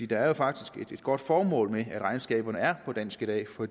der er jo faktisk et godt formål med at regnskaberne er på dansk i dag for